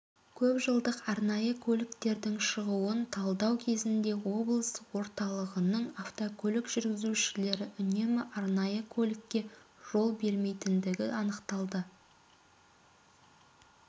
көпжылдық арнайы көліктердің шығуын талдау кезінде облыс орталығының автокөлік жүргізушілері үнемі арнайы көлікке жол бермейдіндігі анықталды